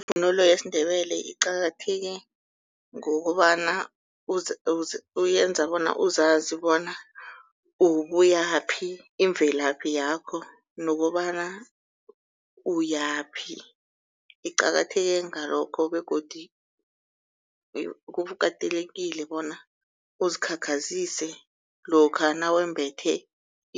Ivunulo yesiNdebele iqakatheke ngokobana uyenza bona uzazi bona ubuyaphi imvelaphi yakho nokobana uyaphi. Iqakatheke ngalokho begodu kukatelekile bona uzikhakhazise lokha nawumbethe